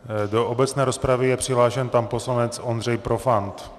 Do obecné rozpravy je přihlášen pan poslanec Ondřej Profant.